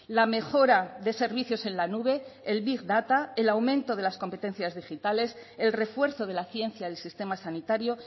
la mejora de servicios en la nube el big data el aumento de las competencias digitales el refuerzo de la ciencia del sistema sanitario